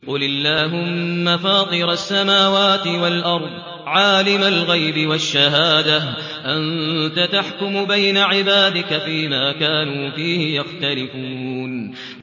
قُلِ اللَّهُمَّ فَاطِرَ السَّمَاوَاتِ وَالْأَرْضِ عَالِمَ الْغَيْبِ وَالشَّهَادَةِ أَنتَ تَحْكُمُ بَيْنَ عِبَادِكَ فِي مَا كَانُوا فِيهِ يَخْتَلِفُونَ